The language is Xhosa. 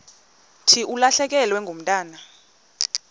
thi ulahlekelwe ngumntwana